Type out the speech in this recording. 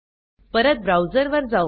परत ब्राउझर वर जाऊ